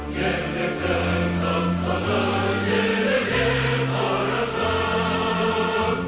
ерліктің дастаны еліме қарашы